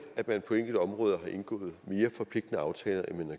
at man på enkelte områder har indgået mere forpligtende aftaler end man